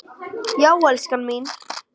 Já, elskan mín!